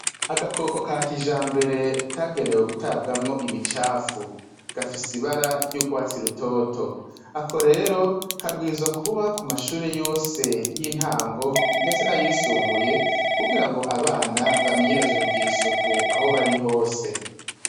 Agakoko ka kijambere kagenewe gutabwamwo imicafu gafise ibara ry'urwatsi rutoto ako rero kabwirizwa kuba ku mashuri yose y'intango ndetse nayisumbuye kugira ngo abana bamenyereze kugira isuku aho bari hose.